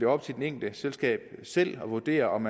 op til det enkelte selskab selv at vurdere om